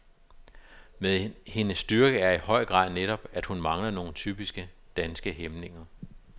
Men hendes styrke er i høj grad netop, at hun mangler nogle typisk danske hæmninger.